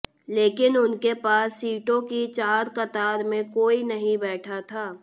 लेकिन उनके पास सीटों की चार कतार में कोई नहीं बैठा था